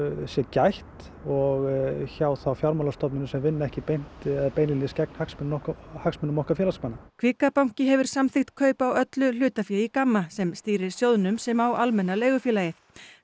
sé gætt og hjá fjármálastofnunum sem vinna ekki beint gegn hagsmunum okkar hagsmunum okkar félagsmanna kvika banki hefur samþykkt kaup á öllu hlutafé í GAMMA sem stýrir sjóðnum sem á Almenna leigufélagið